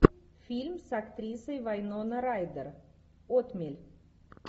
фильм с актрисой вайнона райдер отмель